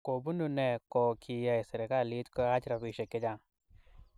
Kobunuu noe ko kiyay serkalit koyaach robishe che chang.